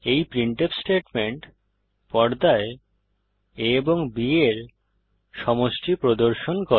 এই printf statement পর্দায় a ও b এর সমষ্টি প্রদর্শন করে